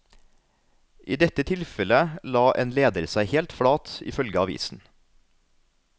I dette tilfellet la en leder seg helt flat, ifølge avisen.